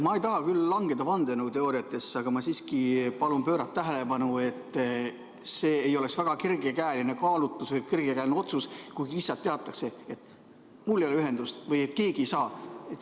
Ma ei taha küll langeda vandenõuteooriatesse, aga ma siiski palun pöörata tähelepanu, et see ei oleks väga kergekäeline kaalutlus või kergekäeline põhjus, kui lihtsalt teatatakse, et mul ei ole ühendust, keegi ei saa hääletada.